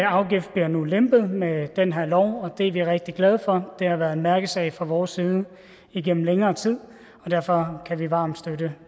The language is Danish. afgift bliver nu lempet med den her lov og det er vi rigtig glade for det har været en mærkesag fra vores side igennem længere tid og derfor kan vi varmt støtte